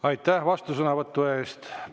Aitäh vastusõnavõtu eest!